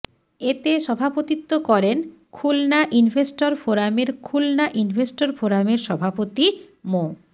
এতে সভাপতিত্ব করেন খুলনা ইনভেস্টর ফোরামের খুলনা ইনভেস্টর ফোরামের সভাপতি মো